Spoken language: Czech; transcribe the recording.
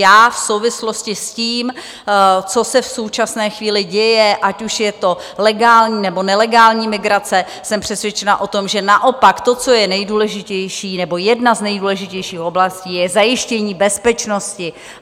Já v souvislosti s tím, co se v současné chvíli děje, ať už je to legální, nebo nelegální migrace, jsem přesvědčena o tom, že naopak to, co je nejdůležitější, nebo jedna z nejdůležitějších oblastí je zajištění bezpečnosti.